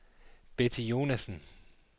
Betty Jonassen